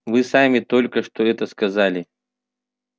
вы сами только что это сказали